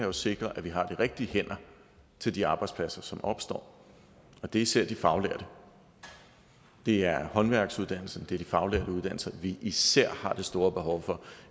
at sikre at vi har de rigtige hænder til de arbejdspladser som opstår og det er især de faglærte det er håndværksuddannelsen det er de faglærte uddannelser vi især har det store behov for